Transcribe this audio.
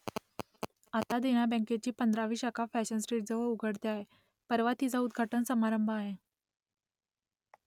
आता देना बँकेची पंधरावी शाखा फॅशन स्ट्रीटजवळ उघडते आहे परवा तिचा उद्घाटन समारंभ आहे